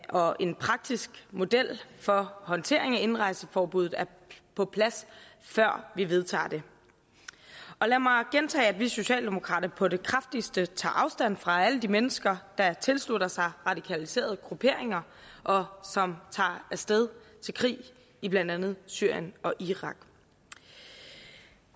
og en praktisk model for håndtering af indrejseforbuddet er på plads før vi vedtager det lad mig gentage at vi socialdemokrater på det kraftigste tager afstand fra alle de mennesker der tilslutter sig radikaliserede grupperinger og som tager af sted til krig i blandt andet syrien og irak